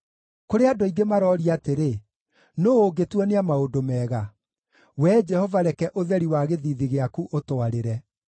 Kũrĩ andũ aingĩ maroria atĩrĩ, “Nũũ ũngĩtuonia maũndũ mega?” Wee Jehova reke ũtheri wa gĩthiithi gĩaku ũtwarĩre.